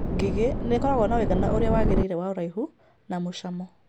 Ngigĩ: nĩ ĩkoragwo na ũigana ũrĩa wagĩrĩire wa ũraihu, ũraihu, na mũcamo.